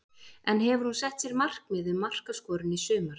En hefur hún sett sér markmið um markaskorun í sumar?